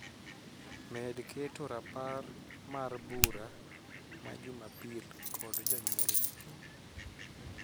Med keto rapar mar mar bura ma Jumapil kod jonyuolne